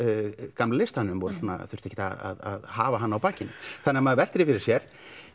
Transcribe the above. gamla listanum og þurftu ekki að hafa hann á bakinu þannig maður veltir fyrir sér